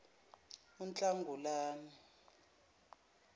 unhlangulana